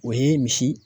O ye misi